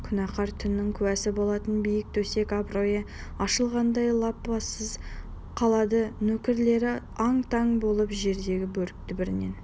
күнәкәр түннің куәсі болатын биік төсек абыройы ашылғандай лыпасыз қалады нөкерлері ан-таң болып жердегі бөрікті бірінен